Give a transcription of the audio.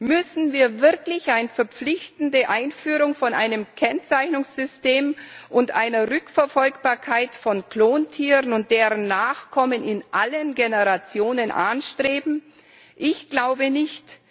Müssen wir wirklich die verpflichtende Einführung eines Kennzeichnungssystems und einer Rückverfolgbarkeit von Klontieren und deren Nachkommen in allen Generationen anstreben? Ich glaube nicht!